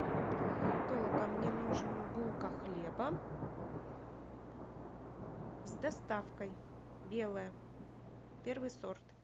толока мне нужен булка хлеба с доставкой белая первый сорт